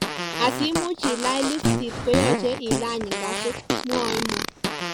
Asimuch ilany liftit koyache ilany ngazit, mwae Mo